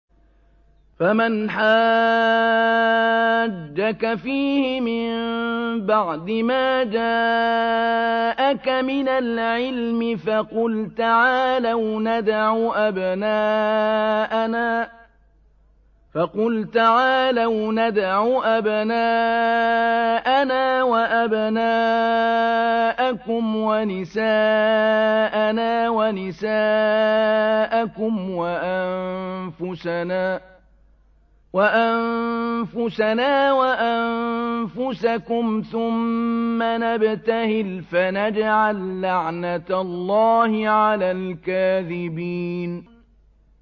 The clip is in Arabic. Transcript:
فَمَنْ حَاجَّكَ فِيهِ مِن بَعْدِ مَا جَاءَكَ مِنَ الْعِلْمِ فَقُلْ تَعَالَوْا نَدْعُ أَبْنَاءَنَا وَأَبْنَاءَكُمْ وَنِسَاءَنَا وَنِسَاءَكُمْ وَأَنفُسَنَا وَأَنفُسَكُمْ ثُمَّ نَبْتَهِلْ فَنَجْعَل لَّعْنَتَ اللَّهِ عَلَى الْكَاذِبِينَ